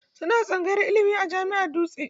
Suna tsangayar ilimi a Jami'ar Dutse.